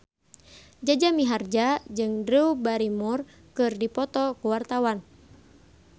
Jaja Mihardja jeung Drew Barrymore keur dipoto ku wartawan